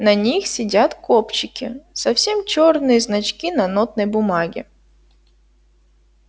на них сидят кобчики совсем чёрные значки на нотной бумаге